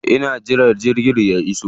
Ina jiran jirgin ya iso.